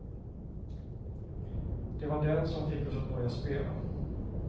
Det var den som fick oss att börja spela.